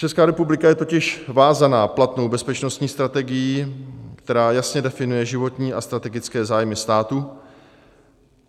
Česká republika je totiž vázána platnou bezpečnostní strategií, která jasně definuje životní a strategické zájmy státu.